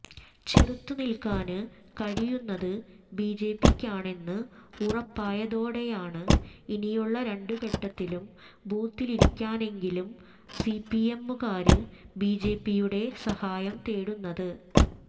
ചെറുത്തുനില്ക്കാന് കഴിയുന്നത് ബിജെപിക്കാണെന്ന് ഉറപ്പായതോടെയാണ് ഇനിയുള്ള രണ്ടു ഘട്ടത്തിലും ബൂത്തിലിരിക്കാനെങ്കിലും സിപിഎമ്മുകാര് ബിജെപിയുടെ സഹായം തേടുന്നത്